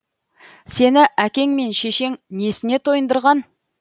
сені әкең мен шешең несіне тойындырған